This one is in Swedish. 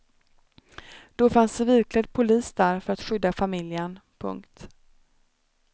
Då fanns civilklädd polis där för att skydda familjen. punkt